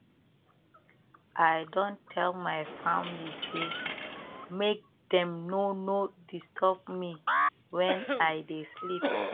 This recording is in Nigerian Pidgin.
i don tell my family sey make dem no no disturb me wen i dey sleep